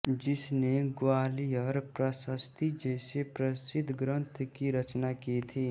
जिसने ग्वालियर प्रशस्ति जैसे प्रशिध्द ग्रंथ की रचना की थी